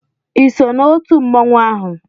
ị so na otu mmanwụ ahụ?